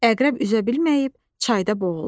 Əqrəb üzə bilməyib, çayda boğuldu.